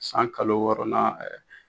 San kalo wɔɔrɔnan ɛɛ